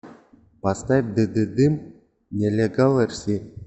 поставь дыдыдым нелегал эрси